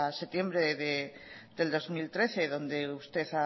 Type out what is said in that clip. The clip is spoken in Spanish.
septiembre del dos mil trece donde usted